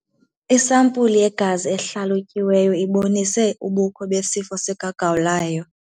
Isampuli yegazi ehlalutyiweyo ibonise ubukho besifo sikagawulayo.